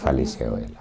Faleceu ela.